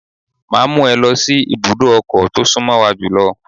Máa mú ẹ lọ sí ibùdó ọkọ̀ tó sún mọ́ wa jùlọ.